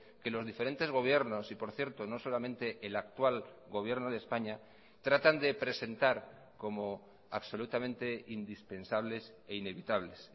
que los diferentes gobiernos y por cierto no solamente el actual gobierno de españa tratan de presentar como absolutamente indispensables e inevitables